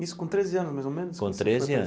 Isso com treze anos, mais ou menos? Com treze anos.